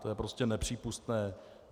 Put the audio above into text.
To je prostě nepřípustné.